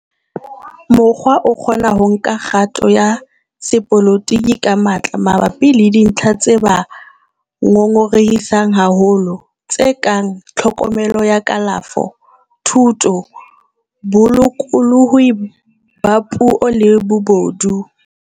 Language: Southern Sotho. Borwa a kgona ho nka kgato ya sepolotiki ka matla mabapi le dintlha tse ba ngongorehisang haholo, tse kang tlhokomelo ya kalafo, thuto, bolokolohi ba puo le bobodu.